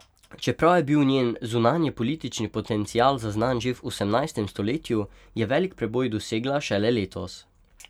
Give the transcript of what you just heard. Čeprav je bil njen zunanjepolitični potencial zaznan že v osemnajstem stoletju, je veliki preboj dosegla šele letos.